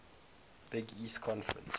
big east conference